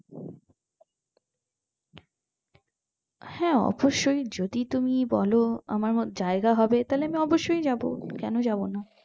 হ্যাঁ অবস্যই যদি তুমি বোলো আমার জায়গা হবে তাহলে আমি অবশই যাবো কোনো যাবোনা